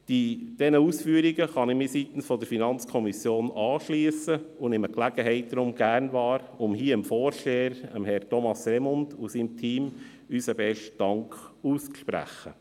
Diesen Ausführungen kann ich mich seitens der FiKo anschliessen und nehme die Gelegenheit hier gerne wahr, um dem Vorsteher, Herrn Thomas Remund, und seinem Team unseren besten Dank auszusprechen.